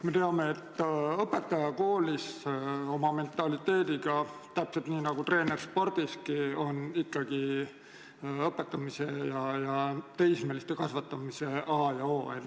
Me teame, et õpetaja koolis oma mentaliteediga, täpselt nii nagu treener spordiski, on ikkagi õpetamise ja teismeliste kasvatamise a ja o.